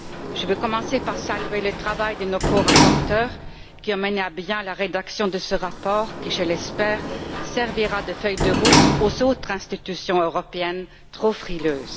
Je vais commencer par saluer le travail de nos corapporteurs qui ont mené à bien la rédaction de ce rapport qui, je l'espère, servira de feuille de route aux autres institutions européennes trop frileuses.